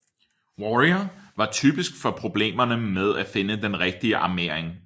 Warrior var typisk for problemerne med at finde den rigtige armering